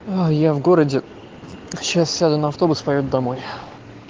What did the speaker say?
а я в городе сейчас сяду на автобус и поеду домой